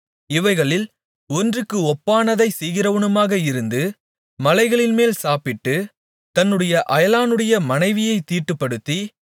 இவைகளில் ஒன்றுக்கு ஒப்பானதைச் செய்கிறவனுமாக இருந்து மலைகளின்மேல் சாப்பிட்டு தன்னுடைய அயலானுடைய மனைவியைத் தீட்டுப்படுத்தி